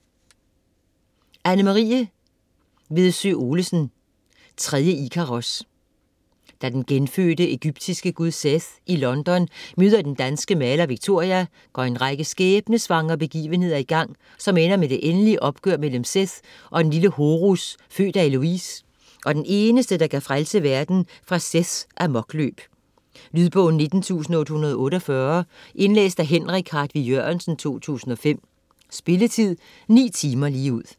Vedsø Olesen, Anne-Marie: Tredje Ikaros Da den genfødte egyptiske gud Seth i London møder den danske maler Victoria, går en række skæbnessvangre begivenheder i gang, som ender med det endelige opgør mellem Seth og den lille Horus, født af Heloise, og den eneste der kan frelse verden fra Seths amokløb. Lydbog 19848 Indlæst af Henrik Hartvig Jørgensen, 2005. Spilletid: 9 timer, 0 minutter.